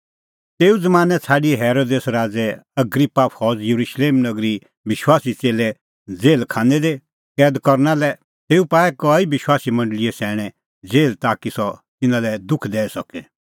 तेऊ ज़मानैं छ़ाडी हेरोदेस राज़ै अग्रिप्पा फौज़ येरुशलेम नगरीए विश्वासी च़ेल्लै जेहल खानै दी कैद करना लै तेऊ पाऐ कई विश्वासी मंडल़ीए सैणैं जेहल ताकि सह तिन्नां लै दुख दैई सके